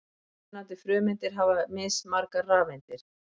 Mismunandi frumeindir hafa mismargar rafeindir.